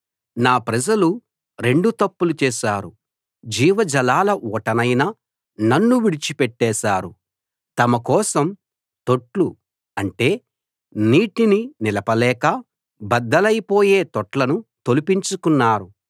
నా ప్రజలు రెండు తప్పులు చేశారు జీవజలాల ఊటనైన నన్ను విడిచి పెట్టేశారు తమకోసం తొట్లు అంటే నీటిని నిలపలేక బద్దలైపోయే తొట్లను తొలిపించుకున్నారు